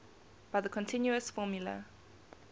by the continuous formula